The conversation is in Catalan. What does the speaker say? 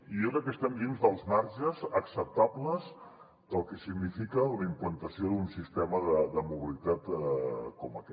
i jo crec que estem dins dels marges acceptables del que significa la implantació d’un sistema de mobilitat com aquest